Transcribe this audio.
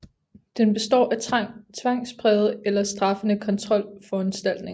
Den består af tvangsprægede eller straffende kontrolforanstaltninger